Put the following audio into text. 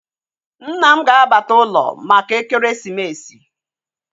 Nna m ga-abata ụlọ maka ekeresimesi